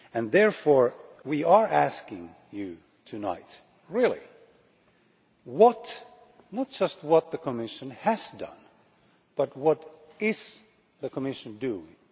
Therefore, we are asking you tonight not just what the Commission has done, but what is the Commission's doing?